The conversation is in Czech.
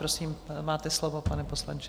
Prosím, máte slovo, pane poslanče.